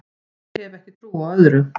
Ég hef ekki trú á öðru